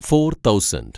four thousand